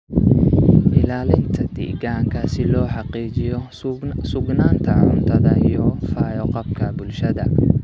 Ilaalinta deegaanka si loo xaqiijiyo sugnaanta cuntada iyo fayo-qabka bulshada